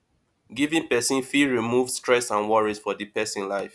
giving to person fit remove stress and worries for di person life